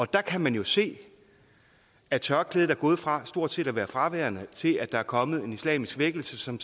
der kan man jo se at tørklædet er gået fra stort set at være fraværende til at der er kommet en islamisk vækkelse som